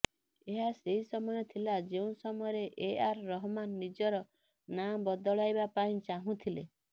ଏହା ସେହି ସମୟ ଥିଲା ଯେଉଁ ସମୟରେ ଏ ଆର୍ ରହମାନ ନିଜର ନା ବଦଳାଇବା ପାଇଁ ଚାହୁଁଥିଲେ